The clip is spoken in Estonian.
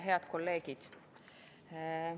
Head kolleegid!